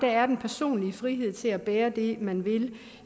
er den personlige frihed til at bære det man vil